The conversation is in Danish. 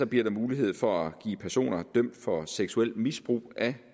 bliver der mulighed for at give personer dømt for seksuelt misbrug af